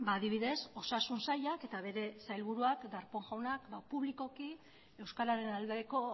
adibidez osasun sailak eta bere sailburuak darpón jaunak publikoki euskararen aldeko